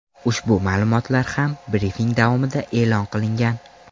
Ushbu ma’lumotlar ham brifing davomida e’lon qilingan.